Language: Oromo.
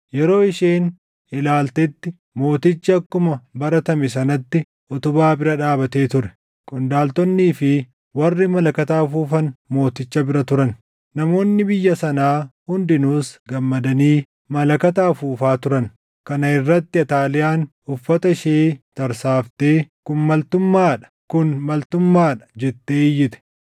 Yeroo isheen ilaaltetti mootichi akkuma baratame sanatti utubaa bira dhaabatee ture. Qondaaltonnii fi warri malakata afuufan mooticha bira turan; namoonni biyya sanaa hundinuus gammadanii malakata afuufaa turan. Kana irratti Ataaliyaan uffata ishee tarsaaftee, “Kun maltummaa dha! Kun maltummaa dha!” jettee iyyite.